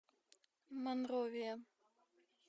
монровия